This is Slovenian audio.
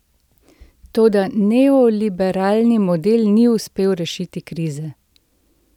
Toda neoliberalni model ni uspel rešiti krize.